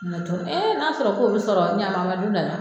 n'a sɔrɔ k'o bi sɔrɔ ɲakuma an ma don da la.